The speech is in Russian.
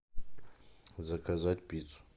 заказать пиццу